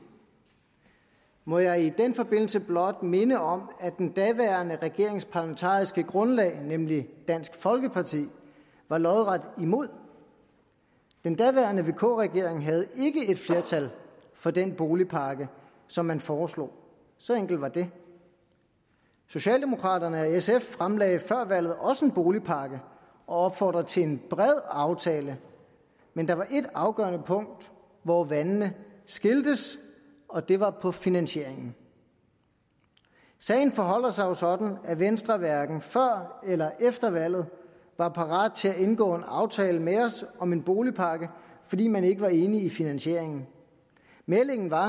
må jeg i den forbindelse blot minde om at den daværende regerings parlamentariske grundlag nemlig dansk folkeparti var lodret imod den daværende vk regering havde ikke et flertal for den boligpakke som man foreslog så enkelt var det socialdemokraterne og sf fremlagde før valget også en boligpakke og opfordrede til en bred aftale men der var et afgørende punkt hvor vandene skiltes og det var på finansieringen sagen forholder sig jo sådan at venstre hverken før eller efter valget var parat til at indgå en aftale med os om en boligpakke fordi man ikke var enig i finansieringen meldingen var